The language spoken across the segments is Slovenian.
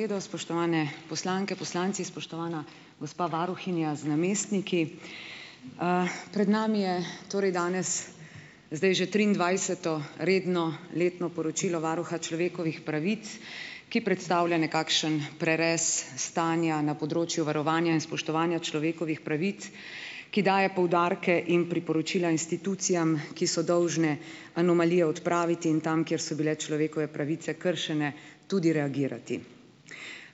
Edo, spoštovane poslanke, poslanci, spoštovana gospa varuhinja z namestniki! Pred nami je torej danes zdaj že triindvajseto redno letno poročilo Varuha človekovih pravic, ki predstavlja nekakšen prerez stanja na področju varovanja in spoštovanja človekovih pravic, ki daje poudarke in priporočila institucijam, ki so dolžne anomalije odpraviti, in tam, kjer so bile človekove pravice kršene, tudi reagirati.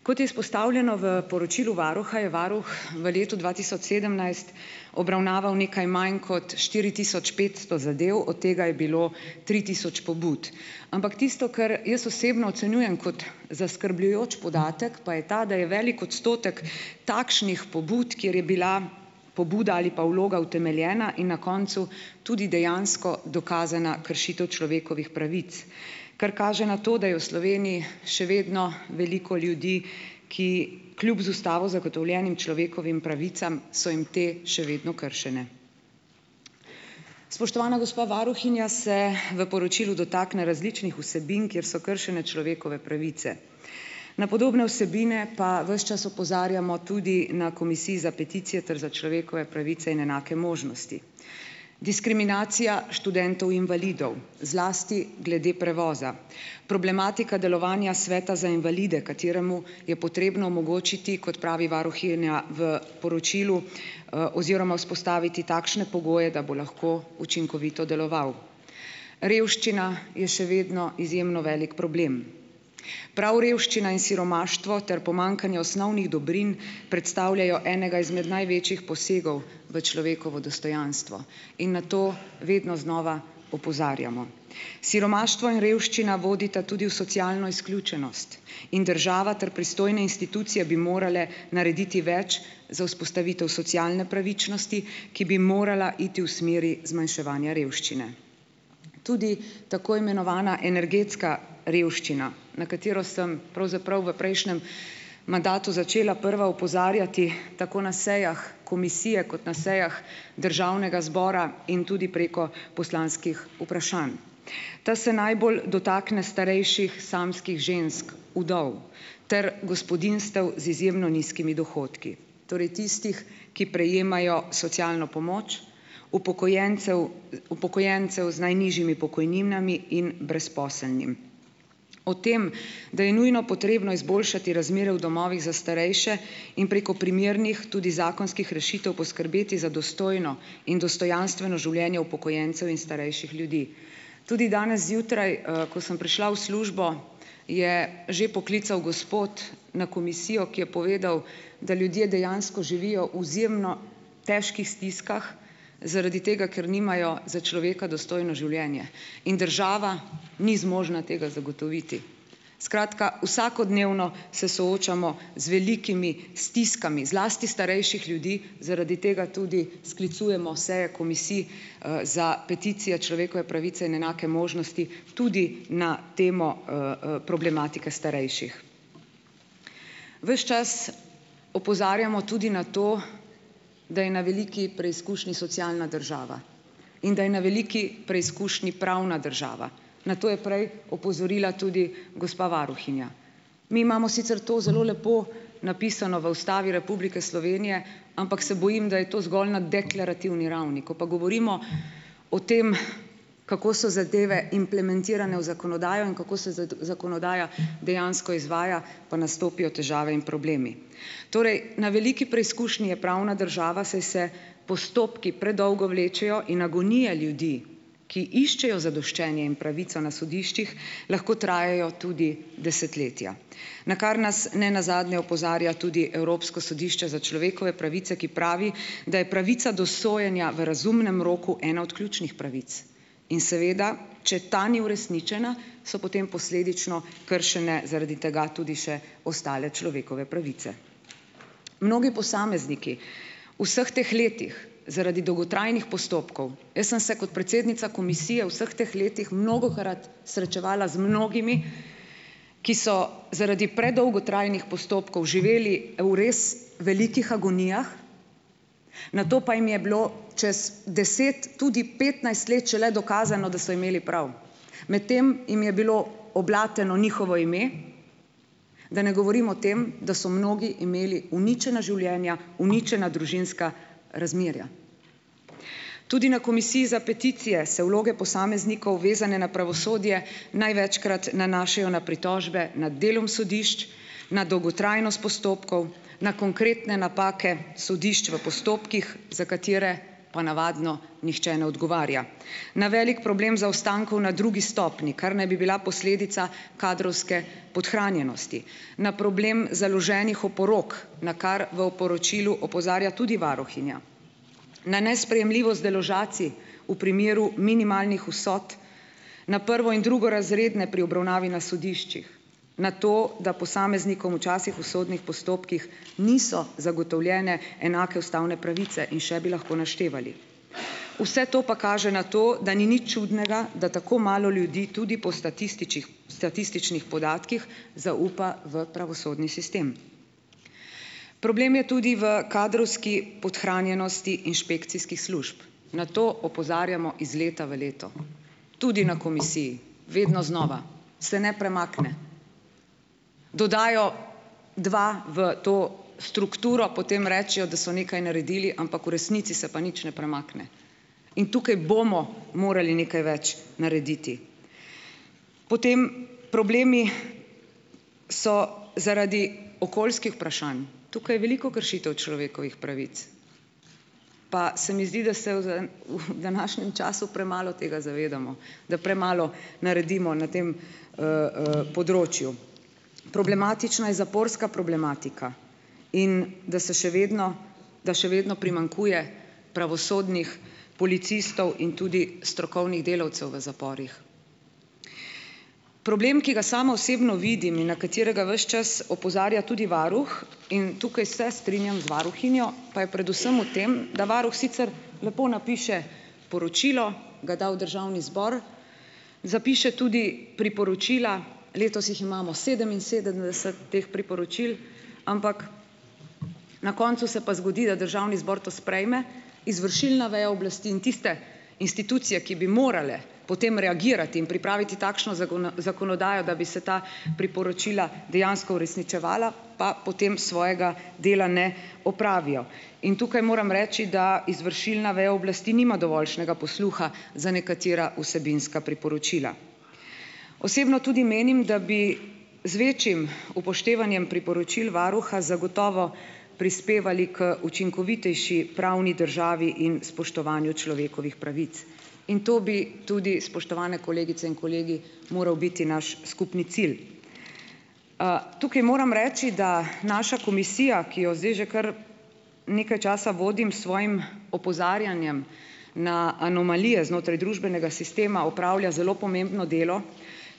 Kot je izpostavljeno v poročilu varuha, je varuh v letu dva tisoč sedemnajst obravnaval nekaj manj kot štiri tisoč petsto zadev, od tega je bilo tri tisoč pobud. Ampak tisto, kar jaz osebno ocenjujem kot zaskrbljujoč podatek, pa je ta, da je velik odstotek takšnih pobud, kjer je bila pobuda ali pa vloga utemeljena in na koncu tudi dejansko dokazana kršitev človekovih pravic, kar kaže na to, da je v Sloveniji še vedno veliko ljudi, ki kljub z Ustavo zagotovljenim človekovim pravicam, so jim te še vedno kršene. Spoštovana gospa varuhinja se v poročilu dotakne različnih vsebin, kjer so kršene človekove pravice. Na podobne vsebine pa ves čas opozarjamo na Komisiji za peticije ter za človekove pravice in enake možnosti. Diskriminacija študentov invalidov, zlasti glede prevoza. Problematika delovanja Sveta za invalide, kateremu je potrebno omogočiti, kot pravi varuhinja v poročilu, oziroma vzpostaviti takšne pogoje, da bo lahko učinkovito deloval. Revščina je še vedno izjemno velik problem. Prav revščina in siromaštvo ter pomanjkanje osnovnih dobrin, predstavljajo enega izmed največjih posegov v človekovo dostojanstvo in na to vedno znova opozarjamo. Siromaštvo in revščina vodita tudi v socialno izključenost in država ter pristojne institucije bi morale narediti več za vzpostavitev socialne pravičnosti, ki bi morala iti v smeri zmanjševanja revščine. Tudi tako imenovana energetska revščina, na katero sem pravzaprav v prejšnjem mandatu začela prva opozarjati, tako na sejah komisije, kot na sejah Državnega zbora in tudi preko poslanskih vprašanj. Ta se najbolj dotakne starejših samskih žensk, vdov, ter gospodinjstev z izjemno nizkimi dohodki. Torej tistih, ki prejemajo socialno pomoč, upokojencev upokojencev z najnižjimi pokojninami in brezposelnim. O tem, da je nujno potrebno izboljšati razmere v domovih za starejše in preko primernih, tudi zakonskih rešitev, poskrbeti za dostojno in dostojanstveno življenje upokojencev in starejših ljudi. Tudi danes zjutraj, ko sem prišla v službo, je že poklical gospod na komisijo, ki je povedal, da ljudje dejansko živijo izjemno težkih stiskah, zaradi tega, ker nimajo za človeka dostojno življenje in država ni zmožna tega zagotoviti. Skratka vsakodnevno se soočamo z velikimi stiskami, zlasti starejših ljudi. Zaradi tega tudi sklicujemo seje Komisij za peticije, človekove pravice in enake možnosti, tudi na temo problematika starejših. Ves čas opozarjamo tudi na to, da je na veliki preizkušnji socialna država in da je na veliki preizkušnji pravna država. Na to je prej opozorila tudi gospa varuhinja. Mi imamo sicer to zelo lepo napisano v Ustavi Republike Slovenije, ampak se bojim, da je to zgolj na deklarativni ravni. Ko pa govorimo o tem, kako so zadeve implementirane v zakonodajo in kako se zakonodaja dejansko izvaja, pa nastopijo težave in problemi. Torej na veliki preizkušnji je pravna država, saj se postopki predolgo vlečejo in agonije ljudi, ki iščejo zadoščenje in pravico na sodiščih, lahko trajajo tudi desetletja, na kar nas ne nazadnje opozarja tudi Evropsko sodišče za človekove pravice, ki pravi, da je pravica do sojenja v razumnem roku ena od ključnih pravic. In seveda, če ta ni uresničena, so potem posledično kršene zaradi tega tudi še ostale človekove pravice. Mnogi posamezniki vseh teh letih zaradi dolgotrajnih postopkov, jaz sem se kot predsednica komisije vseh teh letih mnogokrat srečevala z mnogimi, ki so zaradi predolgotrajnih postopkov živeli v res velikih agonijah, nato pa jim je bilo čez deset, tudi petnajst let šele dokazano, da so imeli prav, medtem jim je bilo oblateno njihovo ime, da ne govorim o tem, da so mnogi imeli uničena življenja, uničena družinska razmerja. Tudi na Komisiji za peticije se vloge posameznikov, vezane na pravosodje, največkrat nanašajo na pritožbe nad delom sodišč, na dolgotrajnost postopkov, na konkretne napake sodišč v postopkih, za katere pa navadno nihče ne odgovarja, na velik problem zaostankov na drugi stopnji, kar naj bi bila posledica kadrovske podhranjenosti, na problem založenih oporok, na kar v poročilu opozarja tudi varuhinja, na nesprejemljivost deložacij v primeru minimalnih vsot, na prvo- in drugorazredne pri obravnavi na sodiščih, na to, da posameznikom včasih v sodnih postopkih niso zagotovljene enake ustavne pravice, in še bi lahko naštevali. Vse to pa kaže na to, da ni nič čudnega, da tako malo ljudi tudi po statističnih statističnih podatkih zaupa v pravosodni sistem. Problem je tudi v kadrovski podhranjenosti inšpekcijskih služb. Na to opozarjamo iz leta v leto tudi na komisiji, vedno znova. Se ne premakne. Dodajo dva v to strukturo, potem rečejo, da so nekaj naredili, ampak v resnici se pa nič ne premakne. In tukaj bomo morali nekaj več narediti. Potem problemi so zaradi okoljskih vprašanj. Tukaj veliko kršitev človekovih pravic. Pa se mi zdi, da se uf današnjem času premalo tega zavedamo, da premalo naredimo na tem področju. Problematična je zaporska problematika in da se še vedno da še vedno primanjkuje pravosodnih policistov in tudi strokovnih delavcev v zaporih. Problem, ki ga sama osebno vidim in na katerega ves čas opozarja tudi varuh - in tukaj se strinjam z varuhinjo -, pa je predvsem v tem, da varuh sicer lepo napiše poročilo, ga da v Državni zbor, zapiše tudi priporočila, letos jih imamo sedeminsedemdeset teh priporočil, ampak na koncu se pa zgodi, da Državni zbor to sprejme, izvršilna veja oblasti in tiste institucije, ki bi morale potem reagirati in pripraviti takšno zakonodajo, da bi se ta priporočila dejansko uresničevala, pa potem svojega dela ne opravijo. In tukaj moram reči, da izvršilna veja oblasti nima dovoljšnega posluha za nekatera vsebinska priporočila. Osebno tudi menim, da bi z večjim upoštevanjem priporočil varuha zagotovo prispevali k učinkovitejši pravni državi in spoštovanju človekovih pravic. In to bi tudi, spoštovane kolegice in kolegi, moral biti znaš skupni cilj. Tukaj moram reči, da naša komisija, ki jo zdaj že kar nekaj časa vodim, s svojim opozarjanjem na anomalije znotraj družbenega sistema opravlja zelo pomembno delo,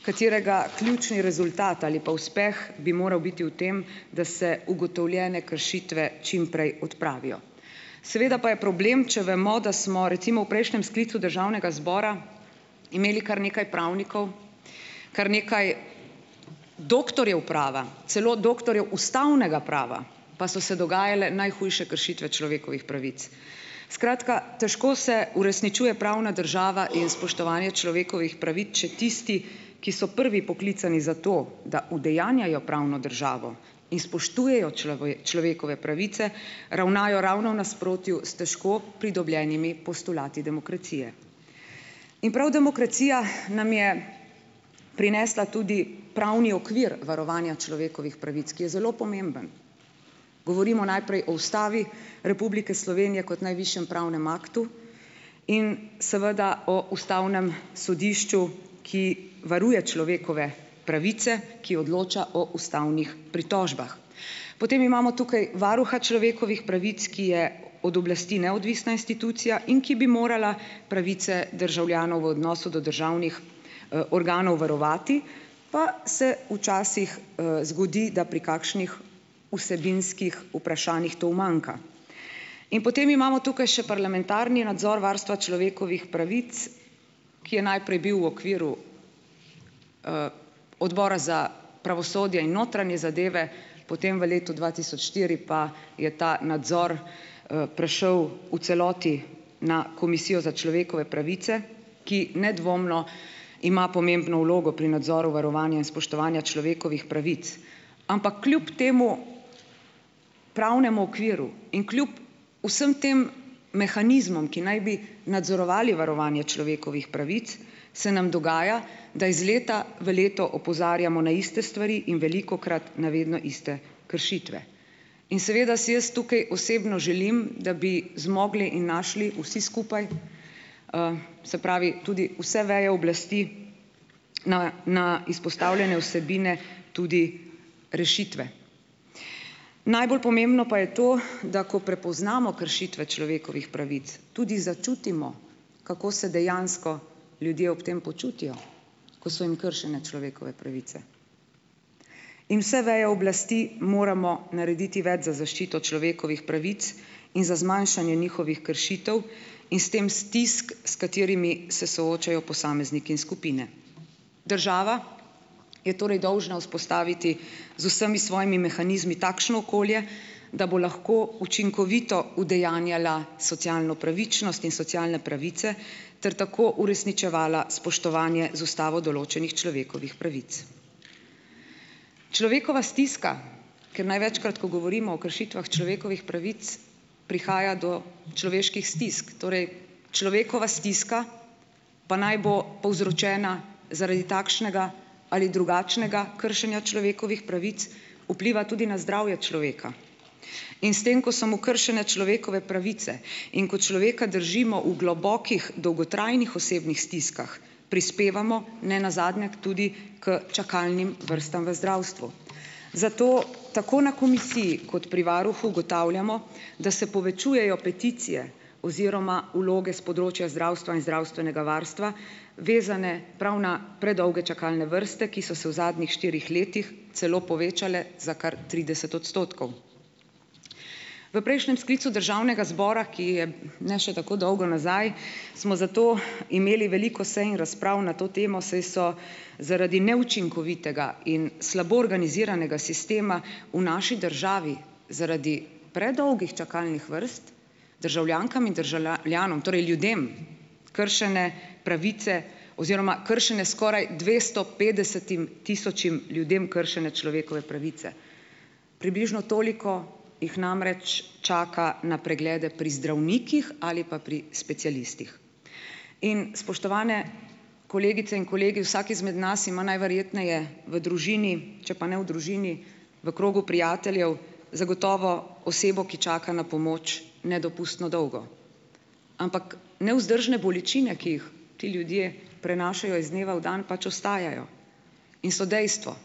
katerega ključni rezultat ali pa uspeh bi moral biti v tem, da se ugotovljene kršitve čimprej odpravijo. Seveda pa je problem, če vemo, da smo recimo v prejšnjem sklicu Državnega zbora imeli kar nekaj pravnikov, kar nekaj doktorjev prava, celo doktorjev ustavnega prava, pa so se dogajale najhujše kršitve človekovih pravic. Skratka, težko se uresničuje pravna država in spoštovanje človekovih pravic, če tisti, ki so prvi poklicani za to, da udejanjajo pravno državo in spoštujejo človekove pravice, ravnajo ravno v nasprotju s težko pridobljenimi postulati demokracije. In prav demokracija nam je prinesla tudi pravni okvir varovanja človekovih pravic, ki je zelo pomemben. Govorimo najprej o Ustavi Republike Slovenije kot najvišjem pravnem aktu in seveda o Ustavnem sodišču, ki varuje človekove pravice, ki odloča o ustavnih pritožbah. Potem imamo tukaj Varuha človekovih pravic, ki je od oblasti neodvisna institucija, in ki bi morala pravice državljanov v odnosu do državnih organov varovati, pa se včasih zgodi, da pri kakšnih vsebinskih vprašanjih to umanjka. In potem imamo tu še parlamentarni nadzor varstva človekovih pravic, ki je najprej bil v okviru Odbora za pravosodje in notranje zadeve, potem v letu dva tisoč štiri pa je ta nadzor prešel v celoti na Komisijo za človekove pravice, ki nedvomno ima pomembno vlogo pri nadzoru varovanja in spoštovanja človekovih pravic. Ampak kljub temu pravnemu okviru in kljub vsem tem mehanizmom, ki naj bi nadzorovali varovanje človekovih pravic, se nam dogaja, da iz leta v leto opozarjamo na iste stvari in velikokrat na vedno iste kršitve. In seveda si jaz tukaj osebno želim, da bi zmogli in našli vsi skupaj, se pravi, tudi vse veje oblasti, na na izpostavljene vsebine tudi rešitve. Najbolj pomembno pa je to, da ko prepoznamo kršitve človekovih pravic, tudi začutimo, kako se dejansko ljudje ob tem počutijo, ko so jim kršene človekove pravice. In vse veje oblasti moramo narediti več za zaščito človekovih pravic in za zmanjšanje njihovih kršitev in s tem stisk, s katerimi se soočajo posamezniki in skupine. Država je torej dolžna vzpostaviti z vsemi svojimi mehanizmi takšno okolje, da bo lahko učinkovito udejanjala socialno pravičnost in socialne pravice ter tako uresničevala spoštovanje z ustavo določenih človekovih pravic. Človekova stiska, ker največkrat, ko govorimo o kršitvah človekovih pravic, prihaja do človeških stisk, torej človekova stiska, pa naj bo povzročena zaradi takšnega ali drugačnega kršenja človekovih pravic, vpliva tudi na zdravje človeka. In s tem, ko so mu kršene človekove pravice in ko človeka držimo v globokih dolgotrajnih osebnih stiskah, prispevamo ne nazadnje k tudi k čakalnim vrstam v zdravstvu. Zato tako na komisiji kot pri varuhu ugotavljamo, da se povečujejo peticije oziroma vloge s področja zdravstva in zdravstvenega varstva, vezane prav na predolge čakalne vrste, ki so se v zadnjih štirih letih celo povečale za kar trideset odstotkov. V prejšnjem sklicu Državnega zbora, ki je ne še tako dolgo nazaj, smo zato imeli veliko sej in razprav na to temo, saj so zaradi neučinkovitega in slabo organiziranega sistema v naši državi, zaradi predolgih čakalnih vrst državljankam in državljanom, torej ljudem, kršene pravice oziroma kršene skoraj dvesto petdesetim tisočim ljudem kršene človekove pravice, približno toliko jih namreč čaka na preglede pri zdravnikih ali pa pri specialistih. In, spoštovane kolegice in kolegi, vsak izmed nas ima najverjetneje v družini, če pa ne v družini, v krogu prijateljev zagotovo osebo, ki čaka na pomoč nedopustno dolgo. Ampak nevzdržne bolečine, ki jih ti ljudje prenašajo iz dneva v dan, pač ostajajo in so dejstvo,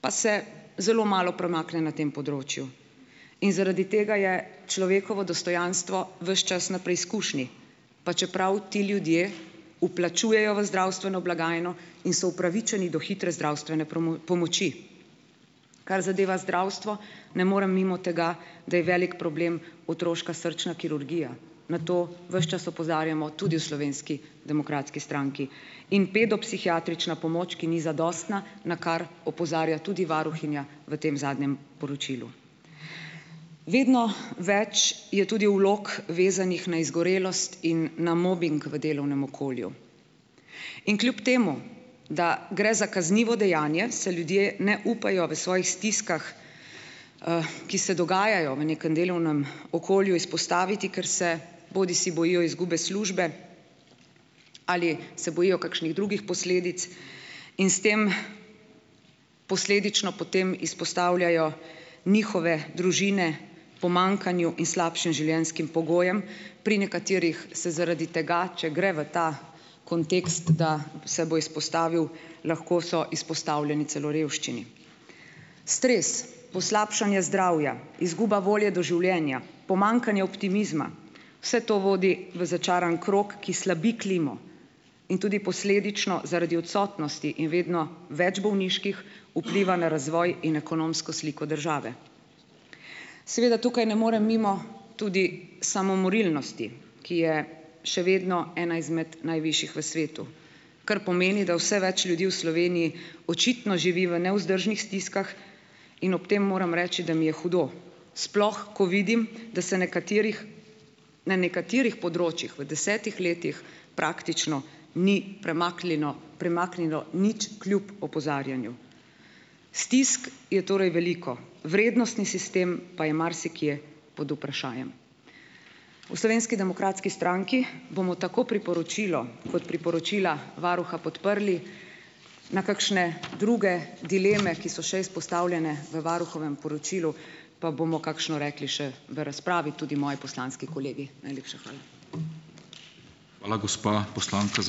pa se zelo malo premakne na tem področju. In zaradi tega je človekovo dostojanstvo ves čas na preizkušnji, pa čeprav ti ljudje vplačujejo v zdravstveno blagajno in so upravičeni do hitre zdravstvene pomoči. Kar zadeva zdravstvo, ne morem mimo tega, da je velik problem otroška srčna kirurgija, na to ves čas opozarjamo tudi v Slovenski demokratski stranki. In pedopsihiatrična pomoč, ki ni zadostna, na kar opozarja tudi varuhinja v tem zadnjem poročilu. Vedno več je tudi vlog, vezanih na izgorelost in na mobing v delovnem okolju. In kljub temu, da gre za kaznivo dejanje, se ljudje ne upajo v svojih stiskah, ki se dogajajo v nekem delovnem okolju, izpostaviti, ker se bodisi bojijo izgube službe ali se bojijo kakšnih drugih posledic in s tem posledično potem izpostavljajo njihove družine, pomanjkanju in slabšim življenjskim pogojem. Pri nekaterih se zaradi tega, če gre v ta kontekst, da se bo izpostavil, lahko so izpostavljeni celo revščini. Stres, poslabšanje zdravja, izguba volje do življenja, pomanjkanje optimizma, vse to vodi v začaran krog, ki slabi klimo, in tudi posledično zaradi odsotnosti in vedno več bolniških vpliva na razvoj in ekonomsko sliko države. Seveda tukaj ne morem mimo tudi samomorilnosti, ki je še vedno ena izmed najvišjih v svetu, kar pomeni, da vse več ljudi v Sloveniji očitno živi v nevzdržnih stiskah, in ob tem moram reči, da mi je hudo, sploh ko vidim, da se nekaterih na nekaterih področjih v desetih letih praktično ni premaklino premaknilo nič, kljub opozarjanju. Stisk je torej veliko, vrednostni sistem pa je marsikje pod vprašajem. V Slovenski demokratski stranki bomo tako priporočilo kot priporočila varuha podprli, na kakšne druge dileme, ki so še izpostavljene v varuhovem poročilu, pa bomo kakšno rekli še v razpravi tudi moji poslanski kolegi. Najlepša hvala.